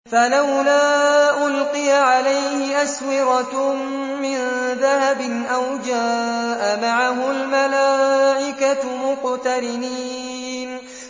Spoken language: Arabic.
فَلَوْلَا أُلْقِيَ عَلَيْهِ أَسْوِرَةٌ مِّن ذَهَبٍ أَوْ جَاءَ مَعَهُ الْمَلَائِكَةُ مُقْتَرِنِينَ